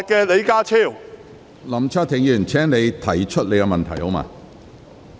林卓廷議員，請直接提出你的急切質詢。